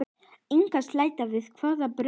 Inga Sæland: Í hvaða baráttu?